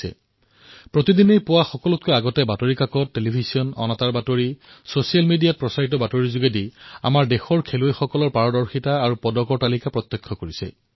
প্ৰত্যেক দিনেই ৰাতিপুৱা প্ৰথমে জনসাধাৰণে বাতৰি কাকত টেলিভিছনত ছচিয়েল মিডিয়াত দৃষ্টি নিক্ষেপ কৰে আৰু প্ৰত্যক্ষ কৰে যে কোন ভাৰতীয় খেলুৱৈয়ে পদক লাভ কৰিছে